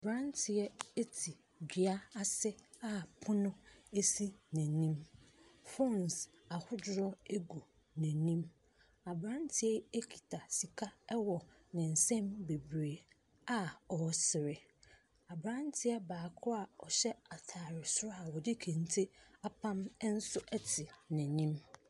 Aberanteɛ te dua ase a pono si n'anim. Phones ahodoɔ gu n'anim. Aberanteɛ yi kita sika wɔ ne nsam bebree a ɔresere. Aberanteɛ baako a ɔhyɛ atare soro a ɔde kente apam nso te n'anim.